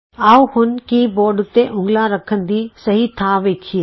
ਆਉ ਹੁਣ keyboard ਉਤੇ ਉਂਗਲਾਂ ਰੱਖਣ ਦੀ ਸਹੀ ਥਾਂ ਵੇਖੀਏ